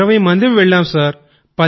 ఇరవై మంది సర్